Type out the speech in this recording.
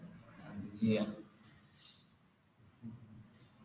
അത് ചെയ്യാം